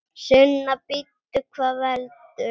Sunna: Bíddu, hvað veldur?